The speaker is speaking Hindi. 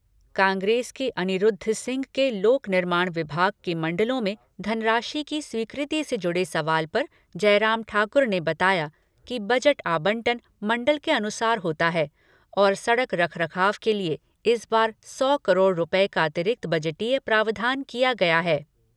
कांग्रेस के अनिरूद्ध सिंह के लोक निर्माण विभाग के मण्डलों में धनराशि की स्वीकृति से जुड़े सवाल पर जयराम ठाकुर ने बताया कि बजट आवंटन मण्डल के अनुसार होता है और सड़क रखरखाव के लिए इस बार सौ करोड़ रूपए का अतिरिक्त बजटीय प्रावधान किया गया है।